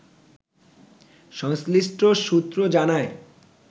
সংশ্লিষ্ট সূত্র জানায়